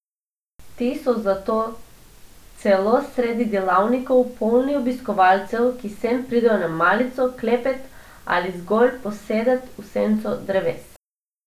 Ti so zato celo sredi delavnikov polni obiskovalcev, ki sem pridejo na malico, klepet ali zgolj posedet v senco dreves.